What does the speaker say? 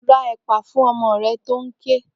Ra ẹ̀pà fún ọmọ rẹ tó ń ké!